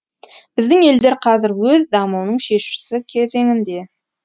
біздің елдер қазір өз дамуының шешуші кезеңінде